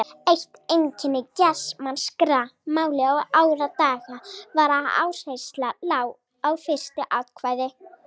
Eitt einkenni germanskra mála í árdaga var að áhersla lá á fyrsta atkvæði.